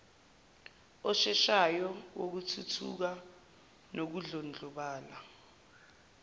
osheshayo wokuthuthuka nokudlondlobala